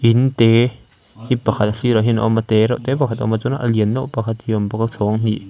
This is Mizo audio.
in te hi pakhat a sirah hian a awm a tereuhte pakhat a awm a chuan a lian deuh pakhat hi a awm bawk a chhawng hnih--